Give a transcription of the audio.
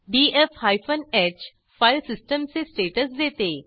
DF hyphen H file सिस्टीमचे status देते